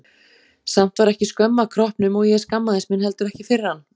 Samt var ekki skömm að kroppnum og ég skammaðist mín heldur ekki fyrir hann.